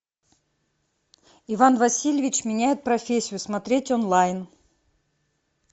иван васильевич меняет профессию смотреть онлайн